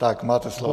Tak, máte slovo.